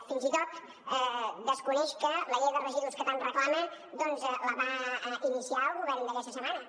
fins i tot desconeix que la llei de residus que tant reclama doncs la va iniciar el govern aquesta setmana